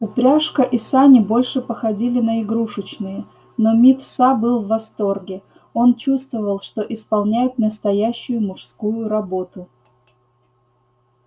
упряжка и сани больше походили на игрушечные но мит са был в восторге он чувствовал что исполняет настоящую мужскую работу